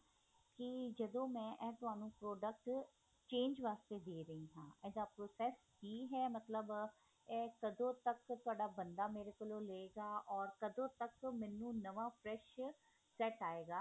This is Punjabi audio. ਕੀ ਜਦੋਂ ਇਹ ਤੁਹਾਨੂੰ product change ਵਾਸਤੇ ਦੇ ਰਹੀ ਹਾਂ ਇਹਦਾ process ਕੀ ਹਾ ਮਤਲਬ ਇਹ ਕਦੋਂ ਤੱਕ ਤੁਹਾਡਾ ਬੰਦਾ ਮੇਰੇ ਕੋਲੋਂ ਲੈਗਾ or ਕਦੋਂ ਤੱਕ ਮੈਨੂੰ ਨਵਾਂ fresh set ਆਏਗਾ